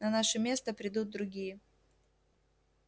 на наше место придут другие